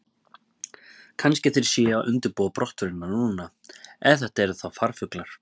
Kannski þeir séu að undirbúa brottförina núna, ef þetta eru þá farfuglar.